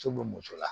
Muso bɛ muso la